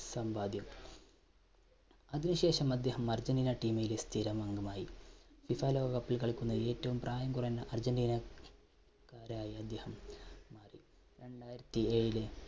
സമ്പാദ്യം അതിന് ശേഷം അദ്ദേഹം അർജൻറീന team ലെ സ്ഥിരം അംഗമായി, FIFA ലോകകപ്പിൽ കളിക്കുന്ന ഏറ്റവും പ്രായം കുറഞ്ഞ അർജൻറീന ക്കാരായി അദ്ദേഹം രണ്ടായിരത്തി ഏഴിലെ,